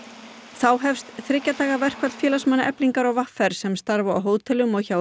þá hefst þriggja daga verkfall félagsmanna Eflingar og v r sem starfa á hótelum og hjá